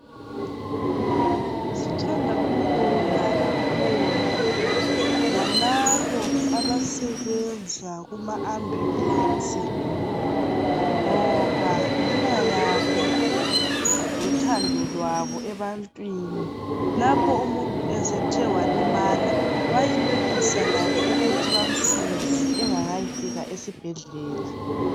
Sithanda ukubonga kakhulu lalabo abasebenza kuma ambulesi ngoba ngenxa yabo lothando lwabo ebantwini, lapho umuntu esethe walimala bayenelisa labo ukuthi bamsize engakayifika esibhedlela.